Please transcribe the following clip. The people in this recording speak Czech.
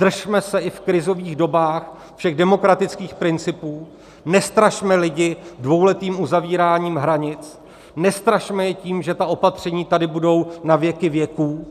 Držme se i v krizových dobách všech demokratických principů, nestrašme lidi dvouletým uzavíráním hranic, nestrašme je tím, že ta opatření tady budou na věky věků,